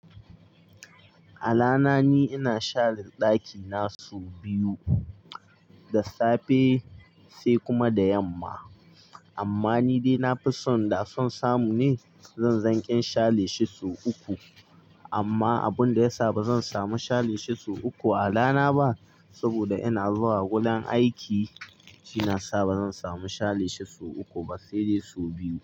A rana ni ina share daki na sau biyu, da safe sai kuma da yamma. Amma ni dai na fi son da son samu ne zan zanke share shi sau uku. Amma abun da ya sa ba zan samu share shi sau uku a rana ba saboda ina zuwa gudan aiki, shi ya sa ba zan samu share shi sau uku ba sai dai sau biyu.